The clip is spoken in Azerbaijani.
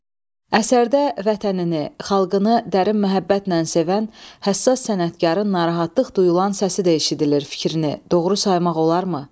Əsərdə vətənini, xalqını dərin məhəbbətlə sevən, həssas sənətkarın narahatlıq duyulan səsi də eşidilir fikrini doğru saymaq olarmı?